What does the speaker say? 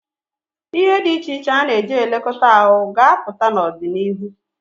Ihe dị iche iche a na-eji elekọta ahụ ga-apụta n'ọdịnihu.